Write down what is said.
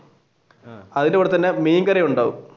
അതിന്റെ കൂടെ തന്നെ മീൻകറി ഉണ്ടാവും